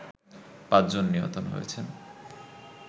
৫ জন নিহত হয়েছেন